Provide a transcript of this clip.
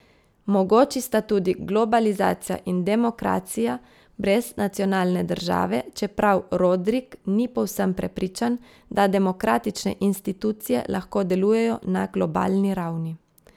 Mogoči sta tudi globalizacija in demokracija brez nacionalne države, čeprav Rodrik ni povsem prepričan, da demokratične institucije lahko delujejo na globalni ravni.